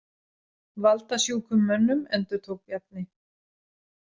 Valdasjúkum mönnum, endurtók Bjarni.